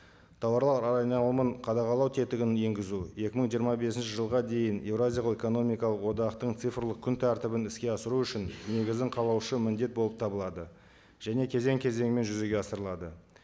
тауарлар айналымын қадағалау тетігін енгізу екі мың жиырма бесінші жылға дейін еуразиялық экономикалық одақтың цифрлық күн тәртібін іске асыру үшін негізін қалаушы міндет болып табылады және кезең кезеңімен жүзеге асырылады